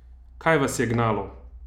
Kaj vas je gnalo?